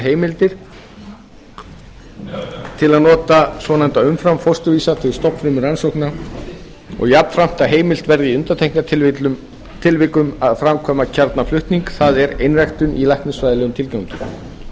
heimildir til að nota svonefnda umframfósturvísa til stofnfrumurannsókna og jafnframt að heimilt verði í undantekningartilvikum að framkvæma kjarnaflutning það er einræktun í læknisfræðilegum tilgangi